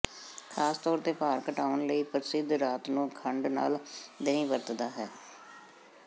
ਖਾਸ ਤੌਰ ਤੇ ਭਾਰ ਘਟਾਉਣ ਲਈ ਪ੍ਰਸਿੱਧ ਰਾਤ ਨੂੰ ਖੰਡ ਨਾਲ ਦਹੀਂ ਵਰਤਦਾ ਹੈ